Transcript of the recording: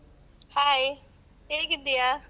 Hai ಹೇಗಿದ್ದೀಯಾ?